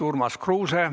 Urmas Kruuse.